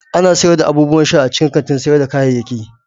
Ana sayar da abubuwan sha a cikin kantin sayar da kayayyaki.